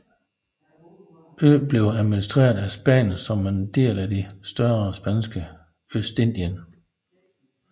Øen blev administreret af Spanien som en del af det større Spanske Østindien